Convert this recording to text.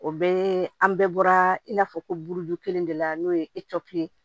O bɛɛ ye an bɛɛ bɔra i n'a fɔ ko buruju kelen de la n'o ye ye